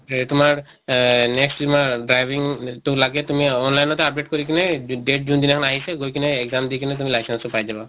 হেৰি তোমাৰ এহ next তোমাৰ driving তো লাগে তুমি online তে update কৰি কিনে date যোন দিনাখন আহিছে গৈ কিনে exam দি কিনে তুমি license তো পাই যাবা।